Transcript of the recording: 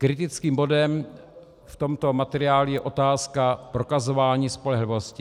Kritickým bodem v tomto materiálu je otázka prokazování spolehlivosti.